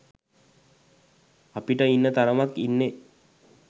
අපිට ඉන්න තරමක් ඉන්නෙ